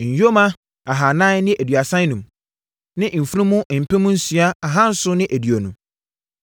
Nyoma ahanan ne aduasa enum (435) ne mfunumu mpem nsia ahanson ne aduonu (6,720).